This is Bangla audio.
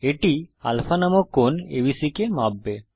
এটি আলফা নামক কোণ এবিসি কে মাপবে